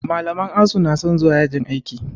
Malaman asu na son zuwa yajin aiki